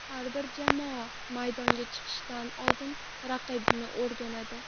Har bir jamoa maydonga chiqishdan oldin raqibini o‘rganadi.